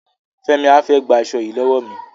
Fẹ́mi á fẹ́ gba aṣo yìí lọ́wọ́ mi.